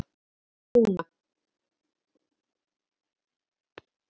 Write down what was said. Við verðum að hafa trúna